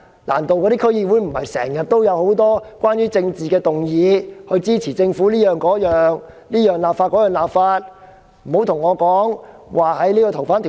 難道區議會不是經常都有很多關於政治的議案，支持政府各方面的立法嗎？